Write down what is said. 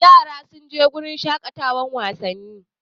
Yaran sun je wurin shaƙatawan wasanni?